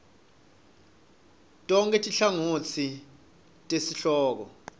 tonkhe tinhlangotsi tesihloko